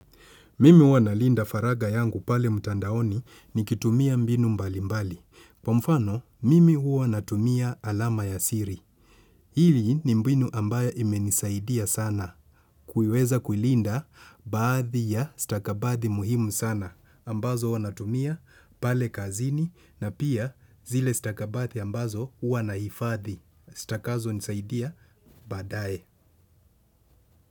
Mimi huwa nalinda faragha yangu pale mtandaoni nikitumia mbinu mbali mbali. Kwa mfano, mimi huwa natumia alama ya siri. Hili ni mbinu ambayo imenisaidia sana. Kuiweza kulinda baadhi ya stakabadhi muhimu sana. Ambazo huwa natumia pale kazini na pia zile stakabadhi ambazo huwa nahifadhi. Zitakazonisaidia baadae.